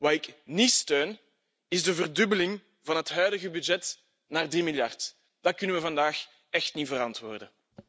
Wat ik niet steun, is de verdubbeling van het huidige budget naar 3 miljard, dat kunnen we vandaag echt niet verantwoorden.